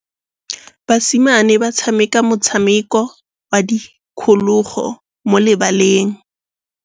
Basimane ba tshameka motshameko wa modikologô mo lebaleng.